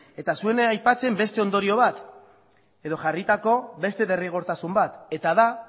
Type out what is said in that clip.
eta ez zuen aipatzen beste ondorio bat edo jarritako beste derrigortasun bat eta da